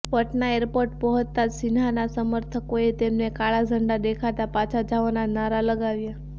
Patna airport પહોંચતા જ સિન્હાના સમર્થકોએ તેમને કાળા ઝંડા દેખાડતા પાછા જાઓના નારા લગાવ્યા